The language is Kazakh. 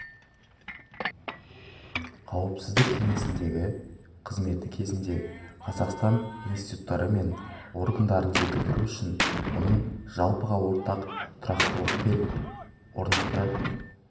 қауіпсіздік кеңесіндегі қызметі кезінде қазақстан институттары мен органдарын жетілдіру үшін оның жалпыға ортақ тұрақтылық пен орнықты